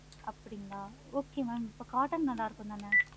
அப்படிங்களா okay mam இப்ப cotton நல்லாருக்கும் தான